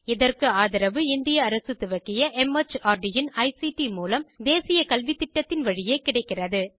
இதற்கு ஆதரவு இந்திய அரசு துவக்கிய மார்ட் இன் ஐசிடி மூலம் தேசிய கல்வித்திட்டத்தின் வழியே கிடைக்கிறது